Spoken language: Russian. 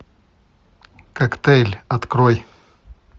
коктейль открой